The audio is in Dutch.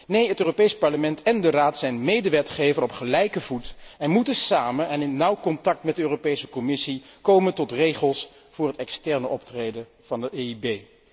Nee, het Europees Parlement en de Raad zijn medewetgever op gelijke voet en moeten samen en in nauw contact met de Europese Commissie komen tot regels voor het externe optreden van de EIB.